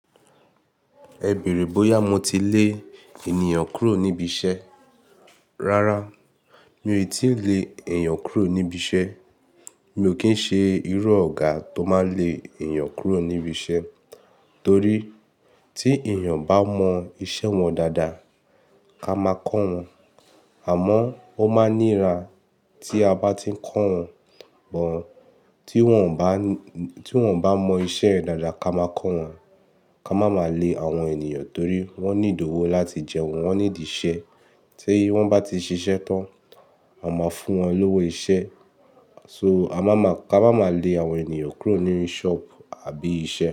Ẹ bèrè bóyá mo ti lè ènìyàn kúrò níbi iṣẹ́. Rárá, mi ò tíì le èyàn kúrò níbi iṣẹ́. Mi ò kí ń ṣe irú Ọ̀gá tó máa le ènìyàn kúrò níbi iṣẹ́. Torí tí ènìyàn bá mọ iṣẹ́ wọn dáadáa, ká máa kọ́ wọn. Àmọ́ ó máa níra tí a bá ti ń kọ́ wọn. Bọ̀ tí wọ́n bá, tí wọ́n bá mọ iṣẹ́ dáadáa ká máa kọ́ wọn. Ka má máa le àwọn ènìyàn torí wọ́n need ówó láti jẹun, wọ́n ní di iṣẹ́. Tí wọ́n bá ti ṣiṣẹ́ tán, a máa fún wọn lówó iṣẹ́. So a má máa, ká má máa le àwọn ènìyàn kúrò ní shop àbí iṣẹ́.